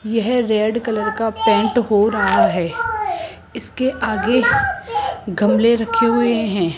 यह red colour का paint हो रहा है इसके आगे गमले रखे हुए हैं।